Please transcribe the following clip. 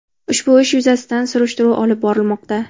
Ushbu ish yuzasidan surishtiruv olib borilmoqda.